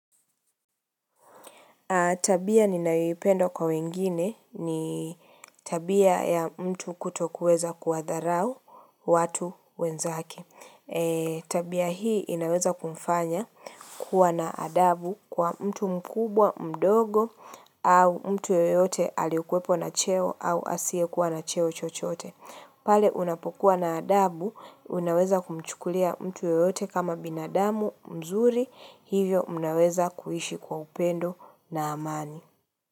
Tabia ninayoipenda kwa wengine ni tabia ya mtu kutokuweza kuwadharau watu wenzake. Tabia hii inaweza kumfanya kuwa na adabu kwa mtu mkubwa, mdogo, au mtu yoyote aliokuwepo na cheo au asiekuwa na cheo chochoote. Pale unapokuwa na adabu, unaweza kumchukulia mtu yeyote kama binadamu mzuri, hivyo mnaweza kuishi kwa upendo na amani.